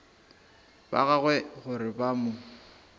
ba gagwe gore ba mo